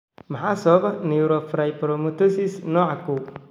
Maxaa sababa neurofibromatosis nooca kow?